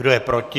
Kdo je proti?